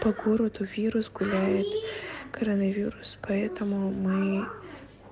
по городу вирус гуляет коронавирус поэтому мы